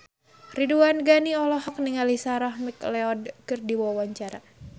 Ridwan Ghani olohok ningali Sarah McLeod keur diwawancara